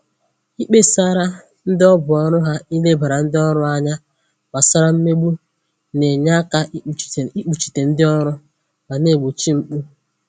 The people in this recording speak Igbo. Ikpesara ndị ọ bụ ọrụ ha ilebara ndị ọrụ anya gbasara mmegbu na-enye aka ikpuchite ndị ọrụ ma na-egbochi mpụ